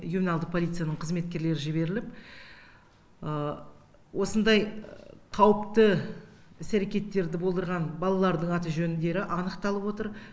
ювеналдық полицияның қызметкерлері жіберіліп осындай қауіпті іс әрекеттерді болдырған балалардың аты жөндері анықталып отыр